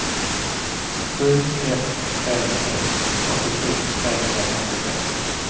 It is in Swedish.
sju ett tre ett åttiosju trehundrafemtiosex